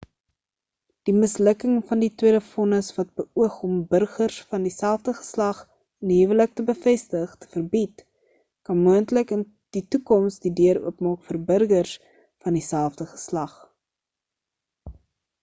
die mislukking van die tweede vonnis wat beoog om burgers van dieselfde geslag in die huwelik te bevestig te verbied kan moontlik in die toekoms die deur oopmaak vir burgers van die selfde geslag